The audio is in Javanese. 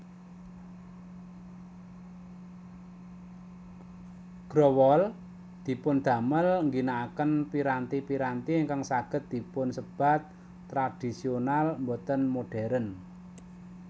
Growol dipundamel ngginaken piranti piranti ingkang saged dipunsebat tradhisional boten modérn